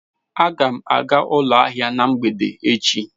Aga m aga ụlọ ahịa na mgbede echi.